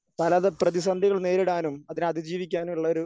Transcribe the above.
പലതരം പ്രതിസന്ധികൾ നേരിടാനും അതിനെ അതിജീവിക്കാനും ഉള്ളൊരു